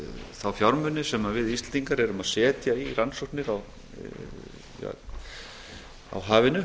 þá fjármuni sem við íslendingar erum að setja í rannsóknir á hafinu